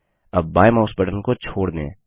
अब बायें mouse button को छोड़ दें